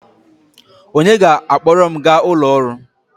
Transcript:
Onye ga-akpọrọ m gaa ụlọ ọrụ?